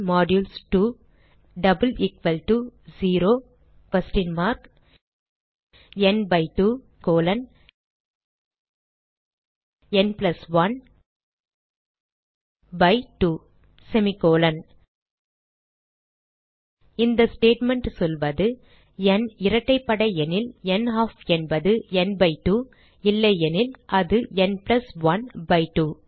ந் 2 n 1 2 semi colon இந்த statement சொல்வது n இரட்டைப்படை எனில் நல்ஃப் என்பது ந் பை 2 இல்லையெனில் அது ந் பிளஸ் 1 பை 2